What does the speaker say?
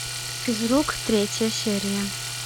физрук третья серия